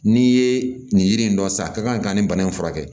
N'i ye nin yiri in dɔn san a ka kan ka nin bana in furakɛ